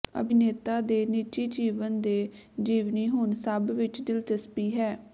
ਅਭਿਨੇਤਾ ਦੇ ਨਿੱਜੀ ਜੀਵਨ ਦੇ ਜੀਵਨੀ ਹੁਣ ਸਭ ਵਿੱਚ ਦਿਲਚਸਪੀ ਹੈ